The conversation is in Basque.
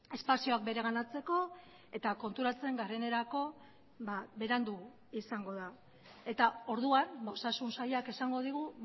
espazioak bereganatzeko eta konturatzen garenerako berandu izango da eta orduan osasun sailak esango digu